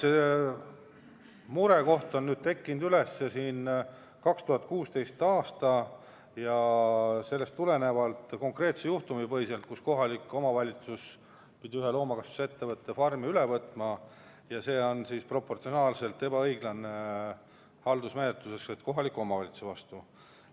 Jah, murekoht tekkis 2016. aastal konkreetse juhtumi põhjal, kui kohalik omavalitsus pidi ühe loomakasvatusettevõtte farmi üle võtma ja see haldusmenetlus oli proportsionaalses mõttes ebaõiglane kohaliku omavalitsuse suhtes.